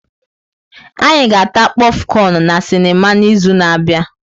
Anyị ga-ata kpofcon na sinima n'izu na-abịa.